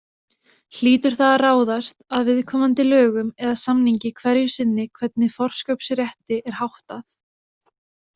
Hlýtur það að ráðast af viðkomandi lögum eða samningi hverju sinni hvernig forkaupsrétti er háttað.